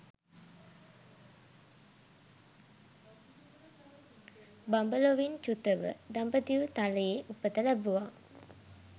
බඹලොවින් චුතව දඹදිව් තලයේ උපත ලැබුවා